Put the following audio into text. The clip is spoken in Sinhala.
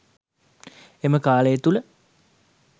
එම කාලය තුළ